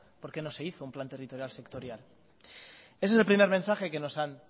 por qué no se hizo un plan territorial sectorial ese es el primer mensaje que nos han